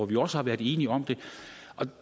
vi også har været enige om